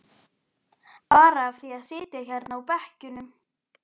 Bara af því að sitja hérna á bekkjunum.